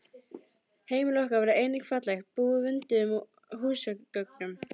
Heimili okkar var einnig fallegt, búið vönduðum húsgögnum.